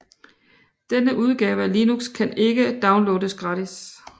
Denne udgave af Linux kan ikke downloades gratis